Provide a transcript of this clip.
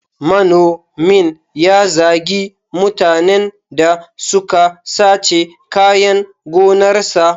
Manomin ya zagi mutanen da suka sace kayan gonarsa.